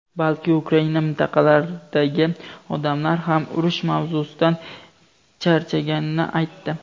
balki Ukraina mintaqalaridagi odamlar ham urush mavzusidan charchaganini aytdi.